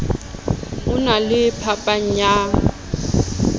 ho na le phapang ya